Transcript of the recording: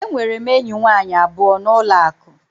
Enwere m enyi nwanyị abụọ na ụlọ akụ.